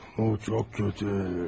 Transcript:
O çox kötü.